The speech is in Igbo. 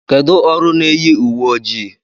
Kedụ ọrụ n'eyi uwe ojii?